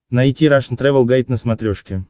найти рашн тревел гайд на смотрешке